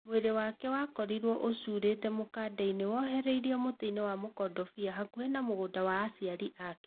Mwĩrĩ wake wakorirwe ũcurĩte mũkanda-inĩ wohererwo mũtĩinĩ wa mũkondobia hakuhĩ na mũgũnda wa aciarĩ ake.